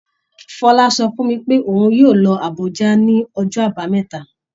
Fọlá sọ fún mi pé òun yóò lọ sí Àbújá ní ọjọ́ Àbámẹ́ta